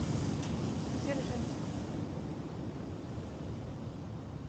дзержинск